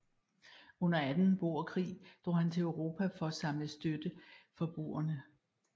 Under anden boerkrig drog han til Europa for at samle støtte for boerne